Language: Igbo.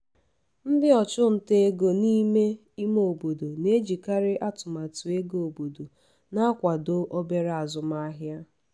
ndị ọchụnta ego n’ime ime obodo na-ejikarị atụmatụ ego obodo na-akwado obere azụmahịa.